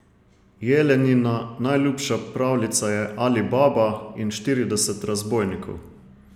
Jelenina najljubša pravljica je Ali Baba in štirideset razbojnikov.